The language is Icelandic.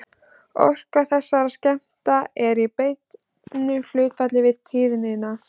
Orka þessara skammta er í beinu hlutfalli við tíðnina.